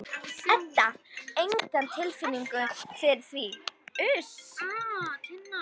Edda: Enga tilfinningu fyrir því?